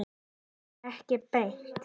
Kannski ekki beint.